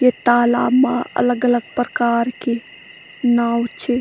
यख तालाब मा अलग-अलग प्रकार की नाव च।